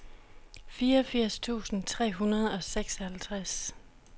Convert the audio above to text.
fireogfirs tusind tre hundrede og seksoghalvtreds